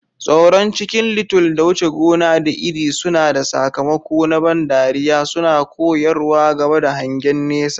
Tsoron Chicken Little da wuce gona da iri suna da sakamako na ban dariya, suna koyarwa game da hangen nesa.